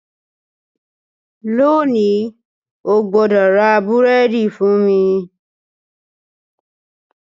Lónìí, o gbọ́dọ̀ ra búrẹ́dì fún mi